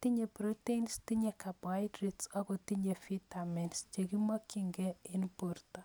Tinye proteins, tinye carbohydrates ago tinye vitamins che kimokchinkeiy en borto.